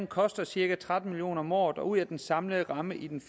koster cirka tretten million kroner om året og ud af den samlede ramme i den